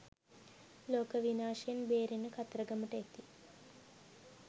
ලෝක විනාශයෙන් බේරෙන්න කතරගමට එති